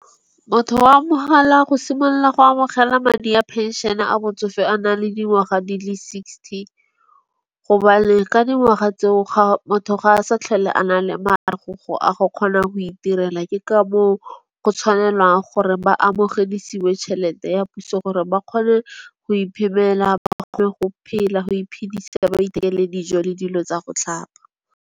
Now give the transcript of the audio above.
Motho wa mogala go simolola go amogela madi a penšene a botsofe a na le dingwaga di le sixty. Gobane ka dingwaga tseo ga motho ga a sa tlhole a na le a go gona go iterela. Ke ka moo go tshwanelwang gore ba amogedisiwe tšhelete ya puso gore ba kgone go iphelela. Ba kgone go phela go iphedisa ba ithekele dijo le dilo tsa go tlhapa.